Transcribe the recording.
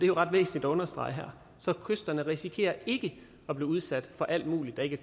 jo ret væsentligt at understrege her så kysterne risikerer ikke at blive udsat for alt muligt der ikke